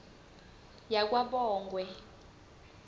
yakwabongwe